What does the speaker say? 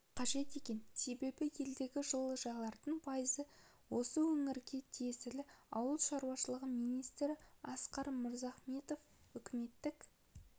қажет екен себебі елдегі жылыжайлардың пайызы осы өңірге тиесілі ауыл шаруашылығы министрі асқар мырзахметов үкіметтік